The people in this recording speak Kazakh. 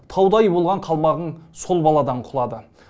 таудай болған қалмағын сол баладан құлады